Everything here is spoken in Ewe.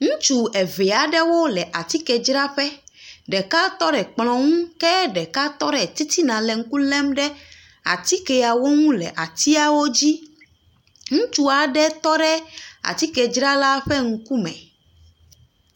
Ŋutsu eve aɖewo le atikedzaraƒe, ɖeka tɔ ɖe kplɔ ŋu ke ɖeka tɔ ɖe titina le ŋku lém ɖe atikeawo ŋu le atiawo dzi. Ŋutsu aɖe tɔ ɖe atikedzrala ƒe ŋkume.